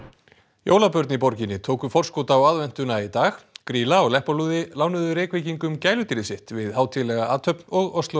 jólabörn í borginni tóku forskot á aðventuna í dag grýla og Leppalúði lánuðu Reykvíkingum gæludýr sitt við hátíðlega athöfn og